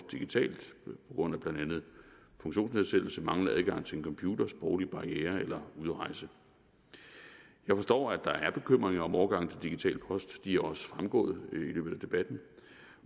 grund af blandt andet funktionsnedsættelse manglende adgang til en computer sproglige barrierer eller udrejse jeg forstår at der er bekymringer om overgangen til digital post de er også fremgået i løbet af debatten